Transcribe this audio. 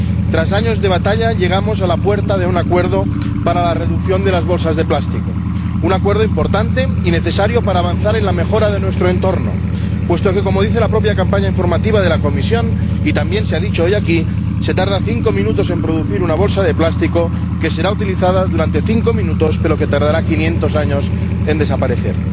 Tras años de batalla, llegamos a la puerta de un acuerdo para la reducción de las bolsas de plástico, un acuerdo importante y necesario para avanzar en la mejora de nuestro entorno, puesto que ―como dice la propia campaña informativa de la Comisión y también se ha dicho hoy aquí― se tarda cinco minutos en producir una bolsa de plástico que será utilizada durante cinco minutos, pero que tardará 500 años en desaparecer.